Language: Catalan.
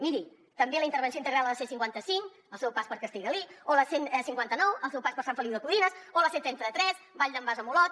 miri també la intervenció integral a la c cinquanta cinc al seu pas per castellgalí o la c cinquanta nou al seu pas per sant feliu de codines o la c trenta tres vall d’en bas a olot